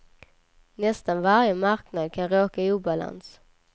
Nästan varje marknad kan råka i obalans.